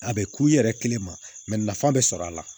A bɛ k'u yɛrɛ kelen ma nafa bɛ sɔrɔ a la